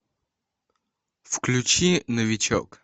включи новичок